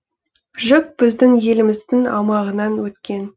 жүк біздің еліміздің аумағынан өткен